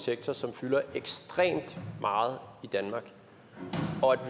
sektor som fylder ekstremt meget i danmark og at